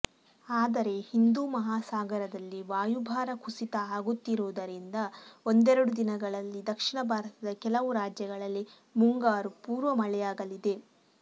ಆದರೆ ಹಿಂದೂ ಮಹಾಸಾಗರದಲ್ಲಿ ವಾಯುಭಾರ ಕುಸಿತ ಆಗುತ್ತಿರುವುದರಿಂದ ಒಂದೆರಡು ದಿನಗಳಲ್ಲಿ ದಕ್ಷಿಣ ಭಾರತದ ಕೆಲವು ರಾಜ್ಯಗಳಲ್ಲಿ ಮುಂಗಾರು ಪೂರ್ವ ಮಳೆಯಾಗಲಿದೆ